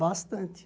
Bastante.